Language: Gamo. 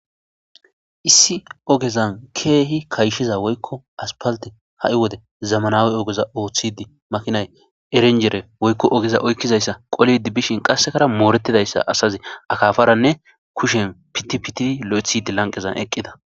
Issi ogezan keehi kayshiza woykko aspalte ha7i wode zamanawe ogeza ooththidi makinay erenjere woykko ogeza oykkizayssa qolidi bishin qassekara mooretidayssa asazi akaafaranne kushen pitipitidi lo7ethidi lanqezan eqqida.